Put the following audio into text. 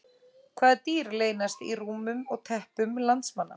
Hvaða dýr leynast í rúmum og teppum landsmanna?